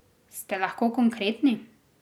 Ste lahko konkretni?